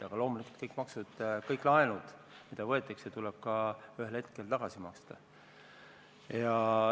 Aga loomulikult kõik laenud, mis võetakse, tuleb ühel hetkel ka tagasi maksta.